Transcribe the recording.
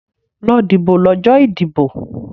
Lọ dìbò lọ́jọ́ ìdìbò!